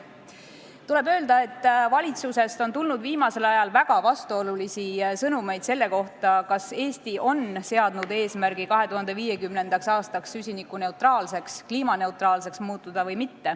Tuleb öelda, et valitsusest on tulnud viimasel ajal väga vastuolulisi sõnumeid selle kohta, kas Eesti on seadnud eesmärgi muutuda 2050. aastaks süsinikuneutraalseks, kliimaneutraalseks, või mitte.